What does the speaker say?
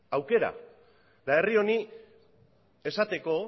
aukera eta herri honi esateko